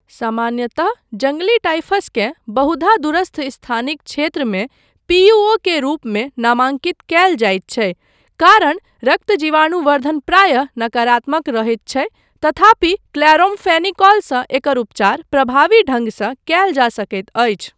सामान्यतः जङ्गली टाइफसकेँ बहुधा दूरस्थ स्थानिक क्षेत्रमे पी.यू.ओ. के रूपमे नामांकित कयल जाइत छै, कारण रक्त जीवाणुवर्द्धन प्रायः नकारात्मक रहैत छै तथापि क्लोरामफेनिकोलसँ एकर उपचार प्रभावी ढंगसँ कयल जा सकैत अछि।